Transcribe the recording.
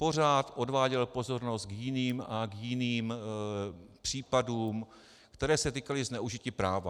Pořád odváděl pozornost k jiným a k jiným případům, které se týkaly zneužití práva.